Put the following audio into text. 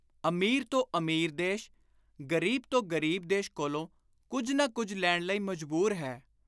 ਅਮੀਰ ਤੋਂ ਅਮੀਰ ਦੇਸ਼, ਗ਼ਰੀਬ ਤੋਂ ਗ਼ਰੀਬ ਦੇਸ਼ ਕੋਲੋਂ ਕੁਝ ਨਾ ਕੁਝ ਲੈਣ ਲਈ ਮਜ਼ਬੂਰ ਹੈ।